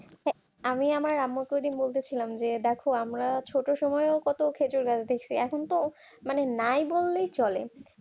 আমি আমার আম্মুর বলতেছিলাম মধ্যে ছিলাম যে দেখো আমরা ছোট সময় কত খেজুর গাছ দেখছি এখন তো মানে নাই বললেই চলে